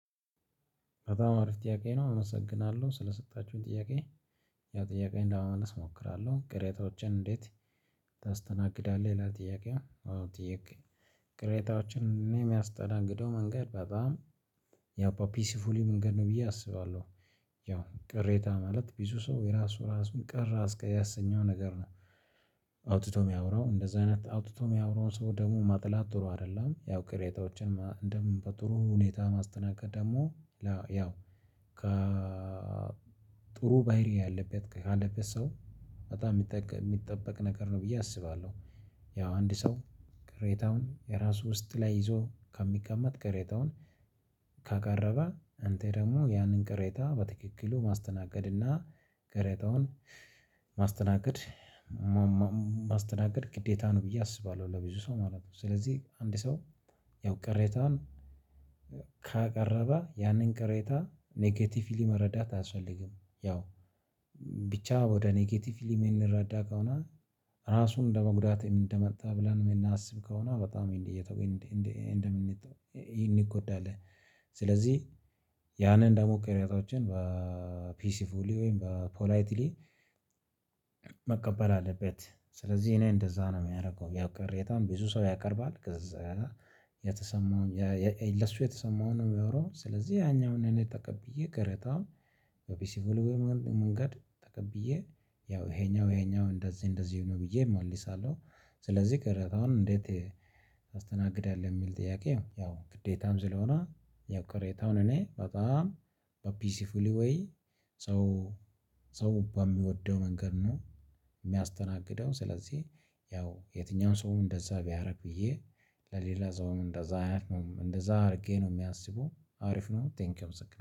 በጣም አሪፍ ጥያቄ ነው አመሰግናለሁ ስለሰጣችሁኝ ጥያቄ ያ ጥያቄ እንደመመለስ እሞክራለሁ ቅሬታዎችን እንዴት? ታስተናግዳለህ ለጥያቄው አዎ ጥያቄ ቅሬታዎችን እኔ የሚያስተናግደው መንገድ በጣም ያው ፒሲፉሊ መንገድ ነው ብዬ አስባለሁ። ያው ቅሬታ ማለት ብዙ ሰው የራሱ ራሱን ቀር ያሰኘው ነገር ነው። አውጥቶ የሚያወራው እንደዚህ አይነት አውጥቶ የሚያወራው ሰው ደሞ ማጥላት ጥሩ አይደለም ያው ቅሬታዎችን ደም በጥሩ ሁኔታ ማስተናገድ ደግሞ። ያው ከጥሩ ባህሪ ያለበት ካለበት ሰው በጣም የሚጠበቅ ነገር ነው ብዬ አስባለሁ። ያው አንድ ሰው ቅሬታውን የራሱ ውስጥ ላይ ይዞ ከሚቀመጥ ከሬታውን። ካቀረበ አንተ ደግሞ ያንን ቅሬታ በትክክሉ ማስተናገድና ቅሬታውን ማስተናገድ ማስተናገድ ግዴታ ነው ብዬ አስባለሁ። ለብዙ ሰው ማለት ነው። ስለዚህ አንድ ሰው ያው ቅሬታን ካቀረበ ያንን ቅሬታ ኔኬቲቭሊ መረዳት አልፈልግም። ያው ብቻ ወደ ኔጌቲቭሊ የምንረዳ ከሆነ። ራሱን እንደመጉዳት እንደመጣ ብለን እናስብ ከሆነ በጣም እንዲህ እየተወይ እንዲህ እንዲህ እንደምን ይን ይጎዳል። ስለዚህ ያንን እንዳሞከር ቅሬታዎችን በፒሲፉል ወይም በፖላይትሊ። መቀበል አለበት ስለዚህ እኔ እንደዛ ነው የሚያደርገው ያው ቀሬታም ብዙ ሰው ያቀርባል። ከዛ የተሰማውን ለሱ የተሰማውን ነው የሚያወራው። ስለዚህ ያኛውን እኔ ተቀብዬ ቅሬታ የኦቢሲ ቮልዌል መንገድ ተቀብዬ ያው ይሄኛው ይሄኛው እንደዚህ እንደዚህ ነው ብዬ እመለሳለሁ። ስለዚህ ቅሬታውን እንዴት? አስተናግዳለሁ የሚል ጥያቄው ያው ግዴታም ስለሆነ የቅሬታውን እኔ በጣም በፒሲፉሊ ወይ ሰው ሰው በሚወደው መንገድ ነው። የሚያስተናግደው ስለዚህ ያው የትኛውም ሰውም እንደዛ ቢያቀርብ ብዬ ለሌላ ሰውም እንደዛ አያትም እንደዛ አድርጌ ነው የሚያስቡ አሪፍ ነው። ቴንኪው ምስክር